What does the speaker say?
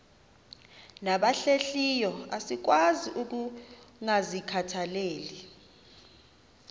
nabahlehliyo asikwazi ukungazikhathaieli